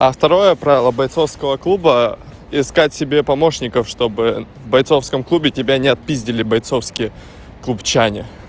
а второе правило бойцовского клуба искать себе помощников чтобы бойцовском клубе тебя не отпиздили бойцовские клубчане